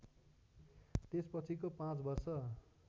त्यसपछिको पाँच वर्ष